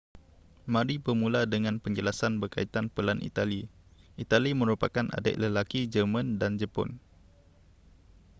mari bermula dengan penjelasan berkaitan pelan itali itali merupakan adik lelaki jerman dan jepun